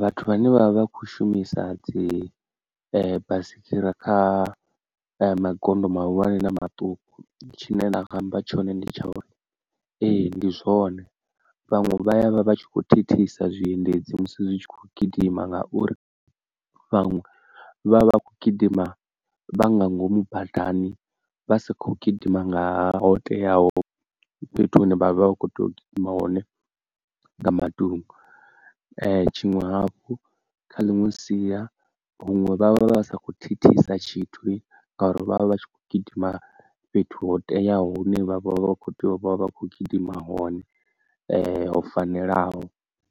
Vhathu vhane vha vha khou shumisa dzi baisigira magondo mahulwane na maṱuku tshine nda nga amba tshone ndi tsha uri ee ndi zwone vhaṅwe vha ya vha vha tshi kho thithisa zwiendedzi musi zwi tshi khou gidima ngauri fhano vha vha kho gidima vha nga ngomu badani vha sa kho gidima nga ho teaho fhethu hune vha vha vha kho to gidima hone nga matungo, tshiṅwe hafhu kha ḽiṅwe sia huṅwe vhavha vha vha vha sa kho thithisa tshithu ngauri vhavha vhatshi kho gidima fhethu ho teaho hune vha vha vha vha vha kho tea uvha vhakho gidima hone ho fanelaho